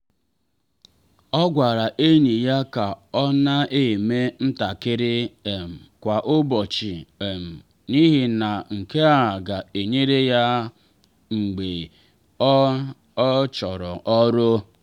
ọ gwara enyi ya ka ọ na eme ntakịrị um kwa ụbọchị um n’ihi na nke a ga-enyere ya mgbe ọ ọ chụrụ ọrụ.